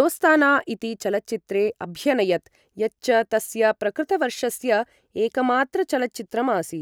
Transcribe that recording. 'दोस्ताना' इति चलच्चित्रे अभ्यनयत्, यच्च तस्य प्रकृतवर्षस्य एकमात्रचलच्चित्रम् आसीत्।